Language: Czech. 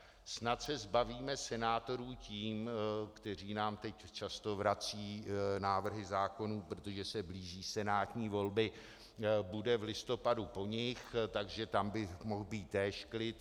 Snad se zbavíme senátorů tím, kteří nám teď často vrací návrhy zákonů, protože se blíží senátní volby, bude v listopadu po nich, takže tam by mohl být též klid.